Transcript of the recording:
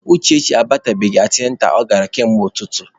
Uchechi abatabeghị antịnantal ọ gara kamgbe ụtụtụ.